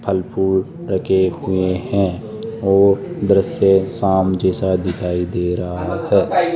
फल फूल लगे हुए हैं और दृश्य शाम जैसा दिखाई दे रहा है।